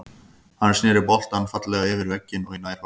Hann snéri boltann fallega yfir vegginn og í nærhornið.